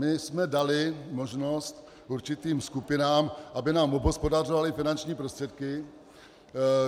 My jsme dali možnost určitým skupinám, aby nám obhospodařovaly finanční prostředky,